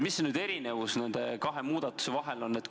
Mis on erinevus kahe muudatuse vahel?